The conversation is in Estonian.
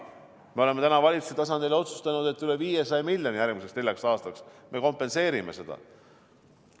Me oleme valitsuse tasandil otsustanud, et üle 500 miljoniga järgmiseks neljaks aastaks me kompenseerime seda.